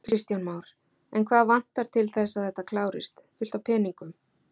Kristján Már: En hvað vantar til þess að þetta klárist, fullt af peningum?